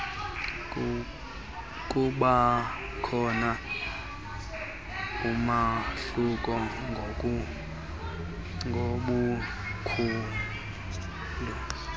kubakhona umahluko ngobukhulu